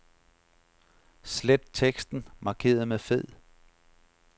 Slet teksten markeret med fed.